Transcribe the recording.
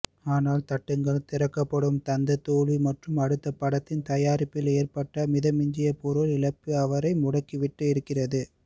ஆனால் தட்டுங்கள் திறக்கப்படும் தந்த தோல்வி மற்றும் அடுத்த படத்தின் தயாரிப்பில் ஏற்பட்ட மிதமிஞ்சிய பொருள் இழப்பு அவரை முடக்கிவிட்டிருக்கிறது